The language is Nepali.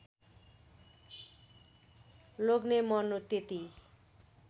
लोग्ने मर्नु त्यति